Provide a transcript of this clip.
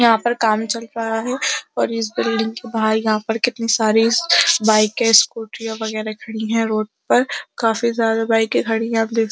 यहा पर काम चल रहा है और इस बिल्डिंग के बाहर यहा पर कितनी सारी बाइके स्कूटी और वगैरहखड़ी हैं रोड पर। काफी ज्यादा बाइके खड़ी हैं। आप देख सक --